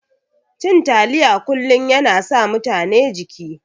Cin taliya kullun yana sa mutane jiki.